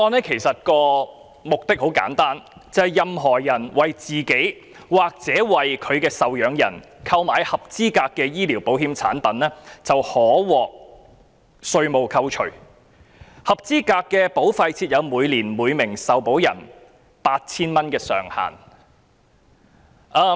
《條例草案》的目的很簡單，任何人為自己或其受養人購買合資格的醫療保險產品便可獲稅務扣除，但以每名受保人每年扣稅 8,000 元為上限。